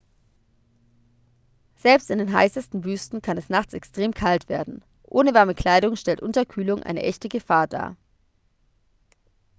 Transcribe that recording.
selbst in den heißesten wüsten kann es nachts extrem kalt werden ohne warme kleidung stellt unterkühlung eine echte gefahr dar